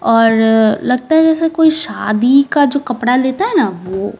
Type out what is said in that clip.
और अ लगता है जैसे कोई शादी का जो कपड़ा लेता है ना वो।